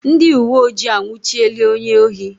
Ndị uweojii anwụchiela onye ohi